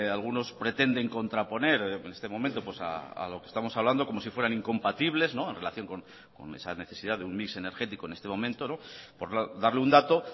algunos pretenden contraponer en este momento a lo que estamos hablando como si fueran incompatibles en relación con esa necesidad de un mix energético en este momento por darle un dato